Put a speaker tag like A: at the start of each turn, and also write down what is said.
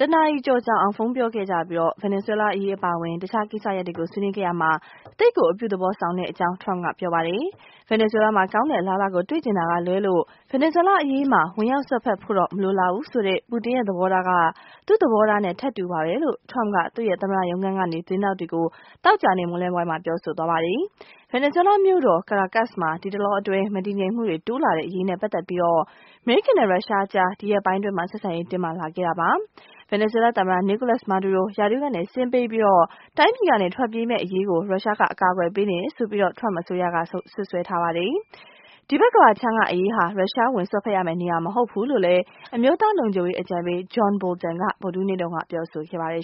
A: တနာရီကျော်ကြာအောင် ဖုန်းပြောခဲ့ကြပြီး ဗင်နီဇွဲလားရေး အပါအဝင် တခြားကိစ္စရပ်တွေ ဆွေးနွေးခဲ့ရာမှာ သိပ်ကို အပြုသဘောဆောင်တဲ့အကြောင်း Trump က ပြောပါတယ်။ ဗင်နီဇွဲလားမှာ ကောင်းတဲ့အလားအလာကို တွေ့ချင်တာကလွဲလို့ ဗင်နီဇွဲလားအရေးမှာ ဝင်ရောက်စွပ်ဖက်ဖို့တော့ မလိုလားဘူးဆိုတဲ့ ပူတင်ရဲ့သဘောထားက သူ့သဘောထားနဲ့ ထပ်တူပါပဲလို့ Trump က သူ့ရဲ့ သမ္မတရုံးခန်းကနေ သတင်းထောက်တွေကို သောကြာနေ့ မွန်းလွဲပိုင်းမှာ ပြောဆိုလိုက်ပါတယ်။ ဗင်နီဇွဲလားမြို့တော် Caracas မှာ ဒီတလောအတွင်း မတည်ငြိမ်မှုတွေ တိုးလာတဲ့အရေးနဲ့ ပတ်သက်ပြီး အမေရိကန်နဲ့ ရုရှားကြား ဒီရက်ပိုင်းအတွင်း ဆက်ဆံရေး တင်းမာလာခဲ့တာပါ။ ဗင်နီဇွဲလားသမ္မတ Nicolas Maduro ရာထူးကဆင်းပြီး တိုင်းပြည်က ထွက်ပြေးမယ့်အရေး ရုရှားက အကာအကွယ်ပေးနေတယ်လို့ Trump အစိုးရက စွပ်စွဲထားတာပါ။ ဒီဘက်ကမ္ဘာခြမ်းကအရေးဟာ ရုရှားဝင်စွက်ဖက်ရမယ့် နေရာမဟုတ်ဘူးလို့ အမျိုးသားလုံခြုံရေး အကြံပေး John Bolton က ဗုဒ္ဓဟူးနေ့က ပြော
B: ဆိုခဲ့ပါတယ်